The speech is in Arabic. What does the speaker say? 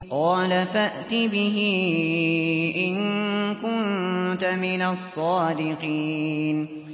قَالَ فَأْتِ بِهِ إِن كُنتَ مِنَ الصَّادِقِينَ